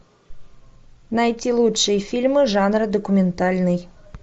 найти лучшие фильмы жанра документальный